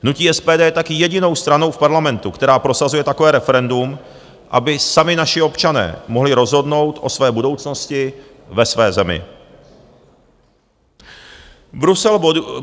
Hnutí SPD je taky jedinou stranou v Parlamentu, která prosazuje takové referendum, aby sami naši občané mohli rozhodnout o své budoucnosti ve své zemi.